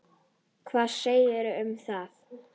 Hvað segiði um það?